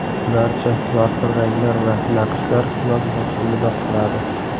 Barcha yorqin ranglar va naqshlar yoz mavsumida qoladi.